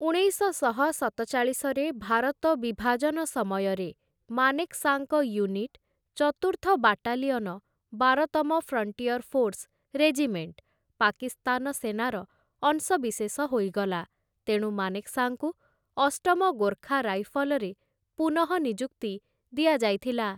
ଉଣେଇଶଶହ ସତଚାଳିଶରେ ଭାରତ ବିଭାଜନ ସମୟରେ ମାନେକ୍‌ଶାଙ୍କ ୟୁନିଟ, ଚତୁର୍ଥ ବାଟାଲିଅନ, ବାର ତମ ଫ୍ରଣ୍ଟିୟର ଫୋର୍ସ ରେଜିମେଣ୍ଟ, ପାକିସ୍ତାନ ସେନାର ଅଂଶବିଶେଷ ହୋଇଗଲା, ତେଣୁ ମାନେକ୍‌ଶା‌ଙ୍କୁ ଅଷ୍ଟମ ଗୋର୍ଖା ରାଇଫଲରେ ପୁନଃନିଯୁକ୍ତି ଦିଆଯାଇଥିଲା ।